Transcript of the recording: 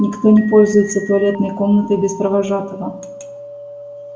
никто не пользуется туалетной комнатой без провожатого